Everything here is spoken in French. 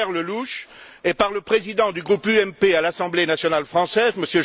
Pierre Lellouche, et par le président du groupe UMP à l'Assemblée nationale française, M.